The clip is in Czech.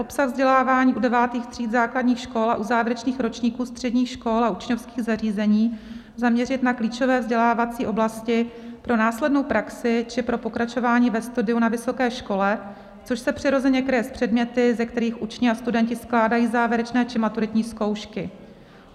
Obsah vzdělávání u devátých tříd základních škol a u závěrečných ročníků středních škol a učňovských zařízení zaměřit na klíčové vzdělávací oblasti pro následnou praxi či pro pokračování ve studiu na vysoké škole, což se přirozeně kryje s předměty, ze kterých učni a studenti skládají závěrečné či maturitní zkoušky.